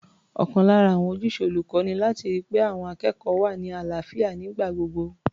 Ọ̀kan lára àwọn ojúṣe olùkọ́ ni láti ri pé àwọn akẹ́kọ̀ọ́ wà ní àlàáfíà nígbà gbogbo.